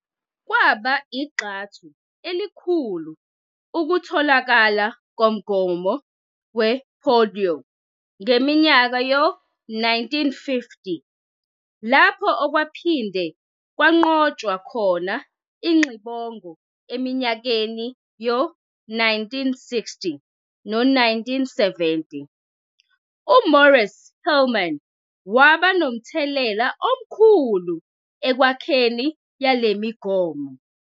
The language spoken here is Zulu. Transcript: Kwa igxathu elikhulu ukutholakala komgomo we-polio ngeminyaka yo-1950 lapho okwaphinde kwanqotshwa khona ingxibongo eminyakeni yo-1960 no-1970. u-Maurice Hilleman waba nomthelela omkhulu ekwakhiweni yalemigomo.